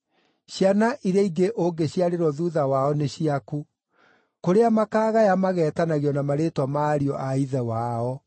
Ciana iria ingĩ ũngĩciarĩrwo thuutha wao nĩ ciaku; kũrĩa makagaya mageetanagio na marĩĩtwa ma ariũ a ithe wao.